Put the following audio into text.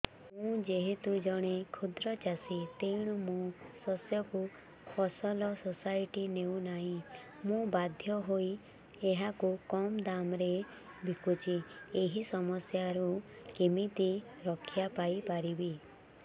ମୁଁ ଯେହେତୁ ଜଣେ କ୍ଷୁଦ୍ର ଚାଷୀ ତେଣୁ ମୋ ଶସ୍ୟକୁ ଫସଲ ସୋସାଇଟି ନେଉ ନାହିଁ ମୁ ବାଧ୍ୟ ହୋଇ ଏହାକୁ କମ୍ ଦାମ୍ ରେ ବିକୁଛି ଏହି ସମସ୍ୟାରୁ କେମିତି ରକ୍ଷାପାଇ ପାରିବି